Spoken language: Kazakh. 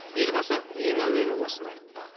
елбасы ең әуелі осыны айтты